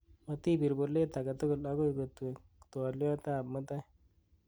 motibir boleet agetugul agoi kotwek twolyot ab mutai